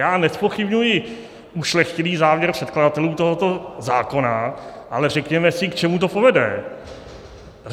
Já nezpochybňuji ušlechtilý záměr předkladatelů tohoto zákona, ale řekněme si, k čemu to povede.